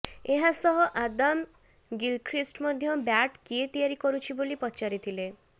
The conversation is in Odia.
ଏହାସହ ଆଦାମ ଗିଲଖ୍ରୀଷ୍ଟ ମଧ୍ୟ ବ୍ୟାଟ୍ କିଏ ତିଆରି କରୁଛି ବୋଲି ପଚାରିଥିଲେ